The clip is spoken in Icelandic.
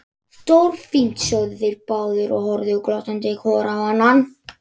Stórfínt sögðu þeir báðir og horfðu glottandi hvor á annan.